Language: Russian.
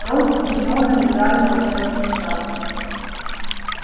рон с гермионой играли в волшебные шахматы